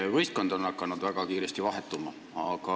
Teie võistkond on hakanud väga kiiresti vahetuma.